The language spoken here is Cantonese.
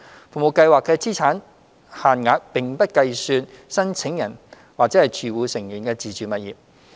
服務計劃的資產限額並不計算申請人或住戶成員的自住物業。